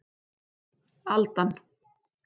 Aldan